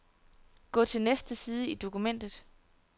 Gå til næste side i dokumentet.